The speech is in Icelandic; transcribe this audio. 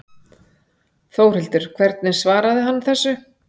Þórhildur hvernig svaraði hann þessu?